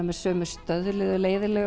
með sömu stöðluðu